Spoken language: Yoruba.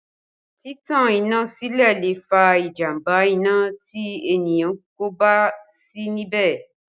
Títan iná sílẹ̀ lè fa ìjàmbá iná tí ènìyàn kò bá sí níbẹ̀